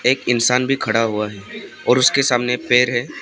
एक इंसान भी खड़ा हुआ है और उसके सामने एक पेड़ है।